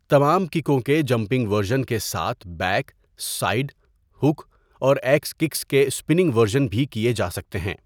تمام ککوں کے جمپنگ ورژن کے ساتھ بیک، سائیڈ، ہک، اور ایکس کِکس کے اسپننگ ورژن بھی کیے جا سکتے ہیں۔